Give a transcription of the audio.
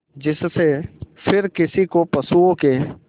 जिससे फिर किसी को पशुओं के